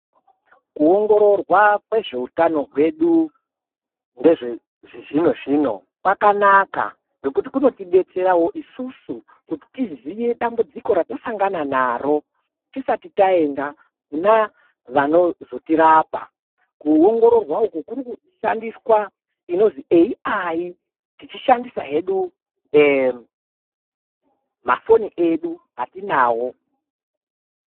Kuongororwa kwezveutano hwedu ngezve zvizvinozvino kwakanaka ngekuti kunotidetserawo isusu kuti tiziye dambudziko ratasangana naro tisati taenda kuna vanozotirapa kuongororwa uku kurikushandiswa inozwi AI tichishandisa hedu mafoni edu atinawo.